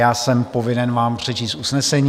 Já jsem povinen vám přečíst usnesení.